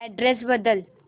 address बदल